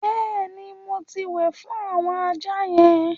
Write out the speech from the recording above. Bẹ́ẹ̀ ni, mo ti wẹ̀ fún àwọn ajá yẹn.